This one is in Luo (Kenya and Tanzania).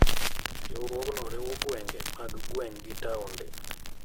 Riwruokno riwo gwenge mag gweng' gi taonde.